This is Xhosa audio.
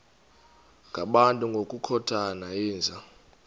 ngabantu ngokukhothana yinja